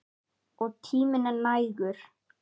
Og tíminn er nægur.